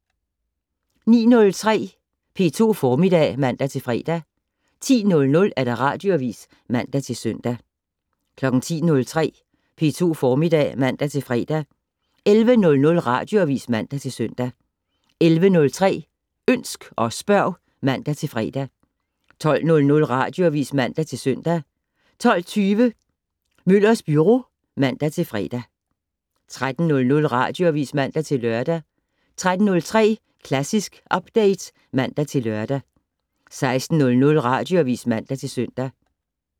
09:03: P2 Formiddag (man-fre) 10:00: Radioavis (man-søn) 10:03: P2 Formiddag (man-fre) 11:00: Radioavis (man-søn) 11:03: Ønsk og spørg (man-fre) 12:00: Radioavis (man-søn) 12:20: Møllers Byro (man-fre) 13:00: Radioavis (man-lør) 13:03: Klassisk Update (man-lør) 16:00: Radioavis (man-søn)